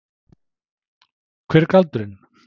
Hver er galdurinn?